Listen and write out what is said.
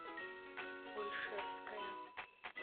ольшевская